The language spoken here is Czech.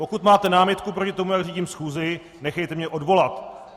Pokud máte námitku proti tomu, jak řídím schůzi, nechejte mě odvolat.